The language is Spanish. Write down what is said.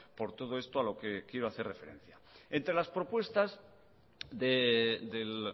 por todo esto a lo que quiero hacer referencia entre las propuestas del